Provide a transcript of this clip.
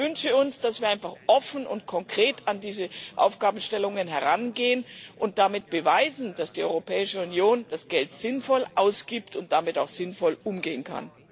Ich wünsche uns, dass wir einfach offen und konkret an diese Aufgabenstellungen herangehen und damit beweisen, dass die Europäische Union das Geld sinnvoll ausgibt und damit auch sinnvoll umgehen kann.